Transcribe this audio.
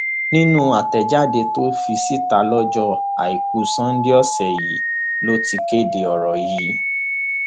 nínú àtẹjáde tó fi síta lọjọ àìkú sanńdé ọsẹ yìí ló ti kéde ọrọ yìí